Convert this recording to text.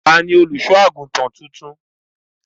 Ta ni olùṣọ́-àgùntàn tuntun?